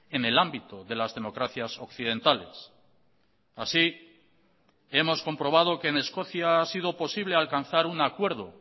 en el ámbito de las democracias occidentales así hemos comprobado que en escocia ha sido posible alcanzar un acuerdo